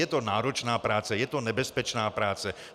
Je to náročná práce, je to nebezpečná práce.